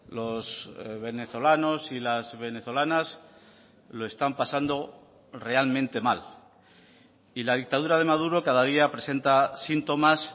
los venezolanos y las venezolanas lo están pasando realmente mal y la dictadura de maduro cada día presenta síntomas